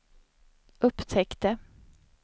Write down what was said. upptäckte